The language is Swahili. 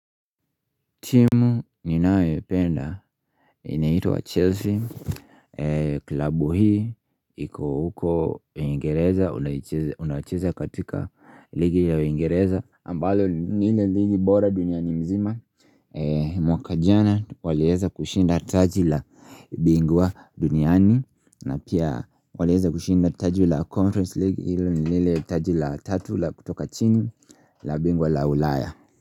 Timu ninayoipenda inaitwa Chelsea klabu hii iko huko uingereza unacheza katika ligi ya uingereza ambalo ni ile ligi bora dunia ni mzima mwaka jana walieza kushinda taji la bingwa duniani na pia walieza kushinda taji la conference league hilo ni lile taji la tatu la kutoka chini la bingwa la ulaya.